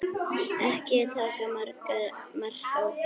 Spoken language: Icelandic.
Ekki taka mark á mér.